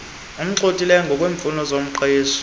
amgxhothileyo ngokweemfuno zomqeshi